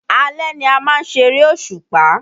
Alẹ́ ni a má ń ṣeré òṣùpá